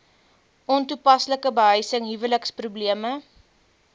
ontoepaslike behuising huweliksprobleme